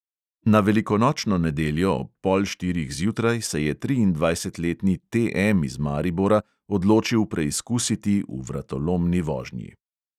Na velikonočno nedeljo ob pol štirih zjutraj se je triindvajsetletni T M iz maribora odločil preizkusiti v vratolomni vožnji.